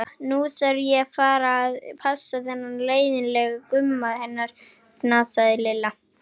Nú þarf ég að fara að passa þennan leiðin- lega Gumma hennar, fnasaði Lilla.